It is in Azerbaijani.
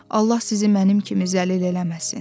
Allah sizi mənim kimi zəlil eləməsin.